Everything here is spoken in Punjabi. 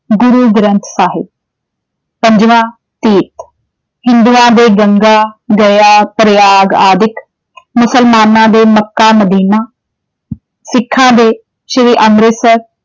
ਗੁਰੂ ਗ੍ਰੰਥ ਸਾਹਿਬ, ਪੰਜਵਾਂ ਤੀਰਥ ਹਿੰਦੂਆਂ ਦੇ ਗੰਗਾ ਦਰਿਆ, ਪਰਿਆਗ ਆਦਿਕ, ਮੁਸਲਮਾਨਾਂ ਦੇ ਮੱਕਾ-ਮਦੀਨਾ ਸਿੱਖਾਂ ਦੇ ਸ੍ਰੀ ਅੰਮ੍ਰਿਤਸਰ